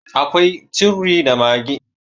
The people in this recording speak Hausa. akwai Curry da maggi